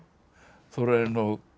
Þórarinn og